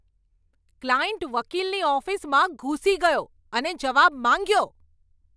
Client વકીલની ઓફિસમાં ઘૂસી ગયો અને જવાબ માંગ્યો!